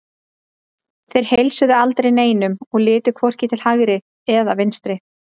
Þeir heilsuðu aldrei neinum og litu hvorki til hægri eða vinstri.